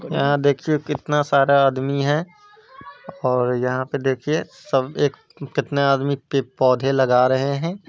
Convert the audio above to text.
यहाँ देखिए कितना सारा आदमी है और यहाँ पे देखिए सब एक कितने आदमी के पे पौधे लगा रहे है।